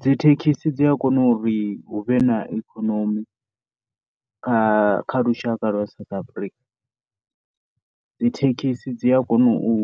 Dzi thekhisi dzi a kona uri hu vhe na ikonomi kha lushaka lwa South Africa, dzi thekhisi dzi a kona u